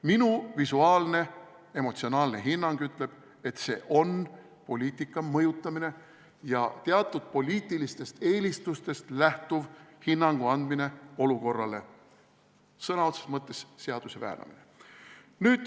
Minu emotsionaalne hinnang ütleb, et see on poliitika mõjutamine ja teatud poliitilistest eelistustest lähtuv hinnangu andmine olukorrale, sõna otseses mõttes seaduse väänamine.